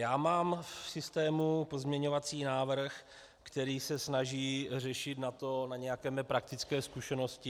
Já mám v systému pozměňovací návrh, který se snaží řešit na to, na nějaké mé praktické zkušenosti.